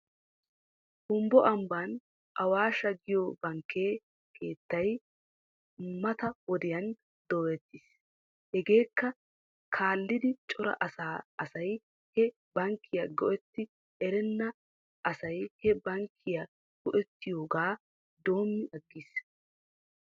Humbbo ambban awaash giyoo bankke keettay mata wodiyan dooyetiis. Heggaaka kaalidi cora asay he bankkiyaa go'etti erenna asay he bankkiyaa go'ettiyoogaa doommi aggiis.